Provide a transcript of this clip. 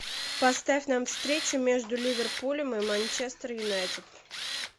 поставь нам встречу между ливерпулем и манчестер юнайтед